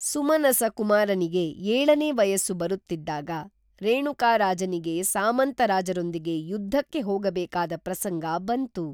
ಸುಮನಸ ಕುಮಾರನಿಗೆ ಏಳನೇ ವಯಸ್ಸು ಬರುತ್ತಿದ್ದಾಗ ರೇಣುಕ ರಾಜನಿಗೆ ಸಾಮಂತ ರಾಜರೊಂದಿಗೆ ಯುದ್ಧಕ್ಕೆ ಹೋಗಬೇಕಾದ ಪ್ರಸಂಗ ಬಂತು